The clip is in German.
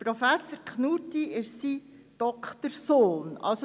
Professor Knutti ist sein Doktorand.